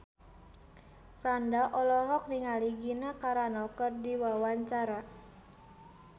Franda olohok ningali Gina Carano keur diwawancara